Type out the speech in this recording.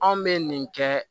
Anw bɛ nin kɛ